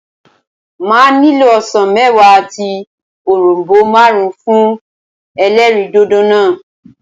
Màá nílò osàn méwàá àti òronbó máàrún fún elérìndòdò náà